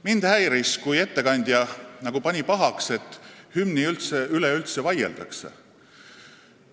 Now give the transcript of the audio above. Mind häiris, kui ettekandja nagu pani pahaks, et hümni üle üldse vaieldakse.